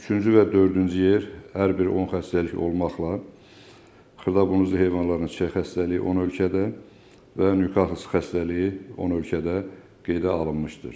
Üçüncü və dördüncü yer hər bir 10 xəstəlik olmaqla xırdabunuzlu heyvanların çay xəstəliyi 10 ölkədə və Newkas xəstəliyi 10 ölkədə qeydə alınmışdır.